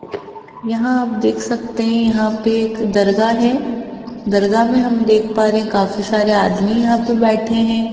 यहां आप देख सकते हैं यहां पे एक दरगाह है दरगाह में हम देख पा रहे हैं काफी सारे आदमी यहां पे बैठे हैं।